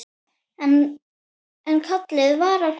En kallið var komið.